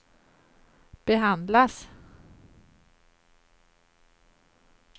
behandlas